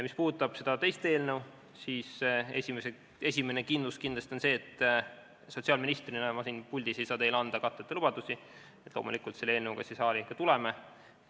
Mis puudutab teist eelnõu, siis esiteks kindlasti see, et sotsiaalministrina ei saa ma siin puldis anda teile katteta lubadusi, nii et loomulikult me selle eelnõuga siia saali ikka tuleme.